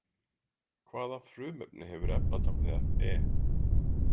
Hvaða frumefni hefur efnatáknið Fe?